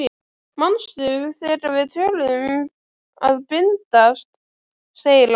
Manstu þegar við töluðum um að bindast, segir hann.